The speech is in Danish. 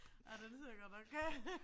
Ej den ser godt nok øh